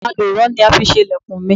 Àlùrọ ni a fi ṣe ilẹ̀kùn mi.